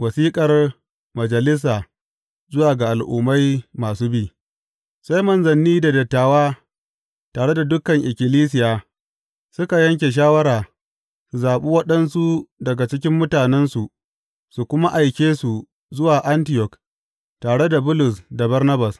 Wasiƙar majalisa zuwa ga al’ummai masu bi Sai manzanni da dattawa, tare da dukan ikkilisiya, suka yanke shawara su zaɓi waɗansu daga cikin mutanensu su kuma aike su zuwa Antiyok tare da Bulus da Barnabas.